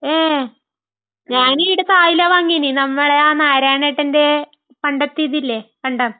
മ്...ഞാൻ ഈയിടത്ത് ആയില വാങ്ങിന്. നമ്മടെ ആ നാരായണേട്ടന്റെ...പണ്ടത്തെ ഇതില്ലേ, കണ്ടം.